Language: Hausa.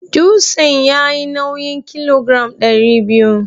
Dutsen yayi nawin kilogiram ɗari biyu.